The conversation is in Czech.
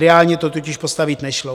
Reálně to totiž postavit nešlo.